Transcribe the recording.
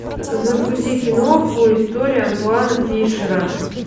загрузи киноху история антуана фишера